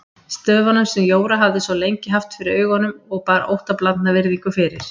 Stöfunum sem Jóra hafði svo lengi haft fyrir augunum og bar óttablandna virðingu fyrir.